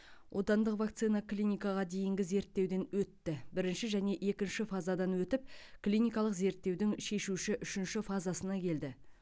отандық вакцина клиникаға дейінгі зерттеуден өтті бірінші және екінші фазадан өтіп клиникалық зерттеудің шешуші үшінші фазасына келді